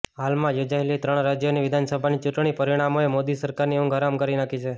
હાલમાં યોજાયેલી ત્રણ રાજ્યોની વિધાનસભાની ચૂંટણી પરિણામોએ મોદી સરકારની ઉંઘ હરામ કરી નાખી છે